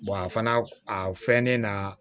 a fana a fɛnnen na